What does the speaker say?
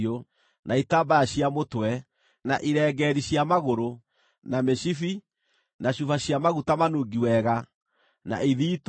na itambaya cia mũtwe, na irengeeri cia magũrũ, na mĩcibi, na cuba cia maguta manungi wega, na ithiitũ